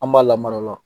An b'a lamara